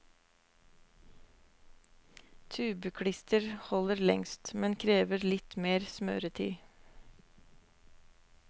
Tubeklister holder lengst, men krever litt mer smøretid.